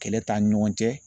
Kɛlɛ t'an ni ɲɔgɔn cɛ